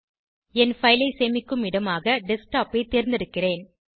என் file ஐ சேமிக்கும் இடமாக டெஸ்க்டாப் ஐ தேர்ந்தெடுக்கிறேன்